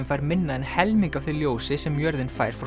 fær minna en helming af því ljósi sem jörðin fær frá